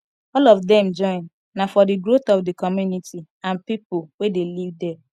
all of dem join na for di growth of di community and pipo wey de live there